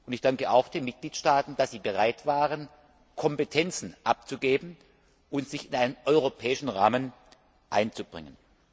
Ich danke auch den Mitgliedstaaten, dass sie bereit waren, Kompetenzen abzugeben und sich in einen europäischen Rahmen einzubringen.